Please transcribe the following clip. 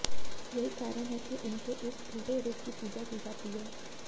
यही कारण है कि उनके इस उल्टे रूप की पूजा की जाती है